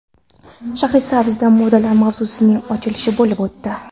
Shahrisabzda modalar mavsumining ochilishi bo‘lib o‘tdi.